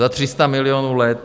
Za 300 milionů let.